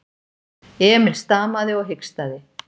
Emil stamaði og hikstaði.